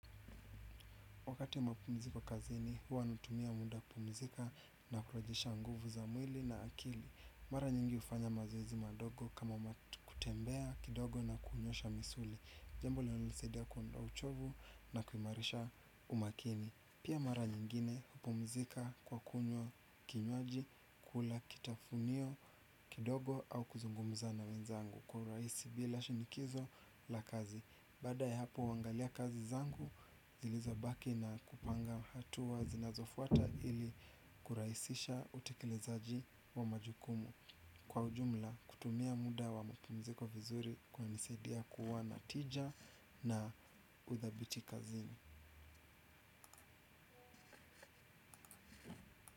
Wakati wa mapumziko kazini, huwa natumia muda kupumzika na kurejesha nguvu za mwili na akili. Mara nyingi hufanya mazoezi madogo kama kutembea kidogo na kunyosha misuli. Jambo linalonisaidia kuondoa uchovu na kuimarisha umakini. Pia mara nyingine hupumzika kwa kunywa kinywaji kula kitafunio kidogo au kuzungumza na wenzangu. Kwa urahisi bila shinikizo la kazi. Baada ya hapo huangalia kazi zangu, zilizobaki na kupanga hatua zinazofuata ili kurahisisha utekelezaji wa majukumu. Kwa ujumla, kutumia muda wa mapumziko vizuri kunanisaidia kuwa na tija na uthabiti kazini.